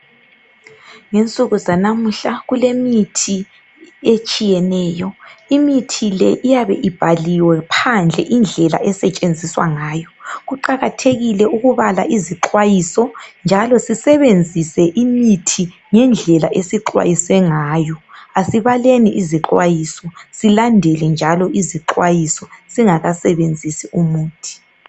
Ngensuku zanamuhla kulemithi etshiyeneyo. Imithi le iyabe ibhaliwe phandle indlela esetshenziswa ngayo. Kuqakathekile ukubala izixwayiso njalo sisebenzise imithi ngendlela esixwayiswe ngayo. Asibaleni izixwayiso sizilandele njalo singakasebenzisi umuthi.